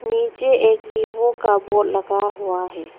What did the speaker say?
नीचे एक वीवो का बोर्ड लगा हुआ है।